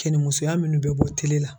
Kɛni musoya minnu bɛ bɔ tele la.